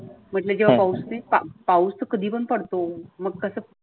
म्हटल जेव्हा पावूस येते पाऊस कधी पण पडतो? मग तसं.